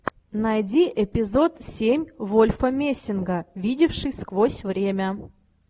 найди эпизод семь вольфа мессинга видевший сквозь время